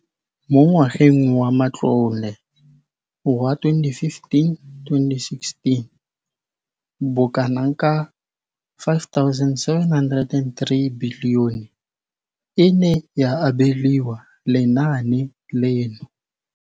Mo ngwageng wa matlole wa 2015,16, bokanaka R5 703 bilione e ne ya abelwa lenaane leno.